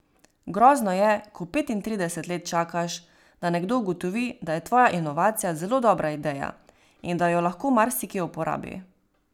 Grozno je, ko petintrideset let čakaš, da nekdo ugotovi, da je tvoja inovacija zelo dobra ideja in da jo lahko marsikje uporabi.